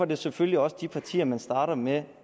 det selvfølgelig også de partier man starter med